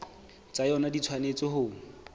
tsa yona di tshwanetse ho